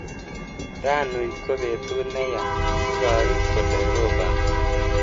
Ranui ko betut neyaa, ibaru kole ropani.